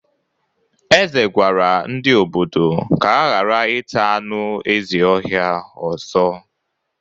Eze gwara ndị ododo ka ha gara ita anụ ezi ọhia ọzọ.